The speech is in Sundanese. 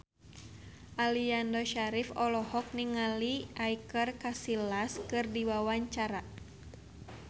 Aliando Syarif olohok ningali Iker Casillas keur diwawancara